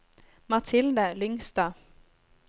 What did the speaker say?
Mathilde Lyngstad